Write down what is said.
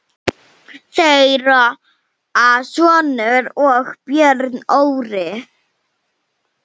Þeirra sonur er Björn Orri.